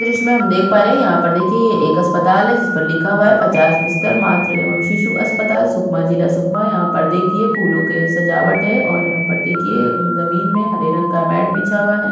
दृश्य में हम देख पा रहे है यहाँ पर देखिये ये एक अस्पताल है जिस पर लिखा हुआ है पचास बिस्तर मात्र एवं शिशु अस्पताल सुकमा जिला सुकमा यहाँ पर देखिये फूलो के सजावट है और यहाँ पर देखिये जमीन में हरे रंग का मेट बिछा हुआ है।